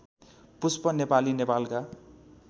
पुष्प नेपाली नेपालका